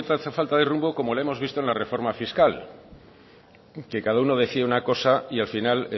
cierta falta de rumbo como la hemos visto en la reforma fiscal que cada uno decía una cosa y al final